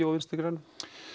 og Vinstri grænum